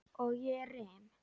Og ég rym.